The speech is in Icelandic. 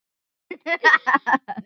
Sonur Elvars er Davíð Þór.